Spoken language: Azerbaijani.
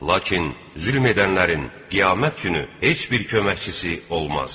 Lakin zülm edənlərin qiyamət günü heç bir köməkçisi olmaz.